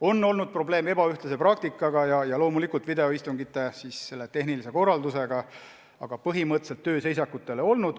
On olnud probleeme ebaühtlase praktikaga ja loomulikult videoistungite tehnilise korraldusega, aga põhimõtteliselt tööseisakut ei ole olnud.